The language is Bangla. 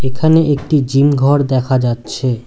এখানে একটি জিম ঘর দেখা যাচ্ছে।